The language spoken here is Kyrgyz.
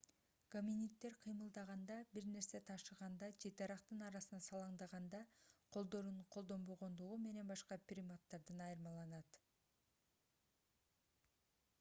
гоминиддер кыймылдаганда бир нерсе ташыганда же дарактын арасына салаңдаганда колдорун колдонбогондугу менен башка приматтардан айырмаланат